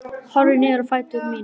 Horfi niður á fætur mína.